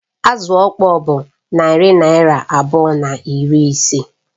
Azụ ọkpọr bụ narị naịra abụọ na iri ise